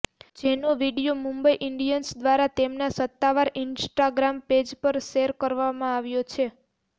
જેનો video Mumbai Indians દ્વારા તેમના સત્તાવાર ઇન્સ્ટાગ્રામ પેજ પર શેર કરવામાં આવ્યો છે